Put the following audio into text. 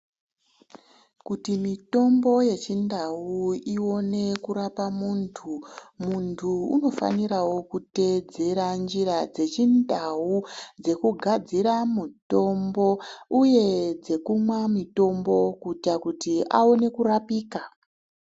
Kuti mitombo yechindau ione kurapa muntu. Muntu unofaniravo kutedzera njira dzechindau dzekugadzira mutombo, uye dzekumwa mitombo kuita kuti aone kurapika.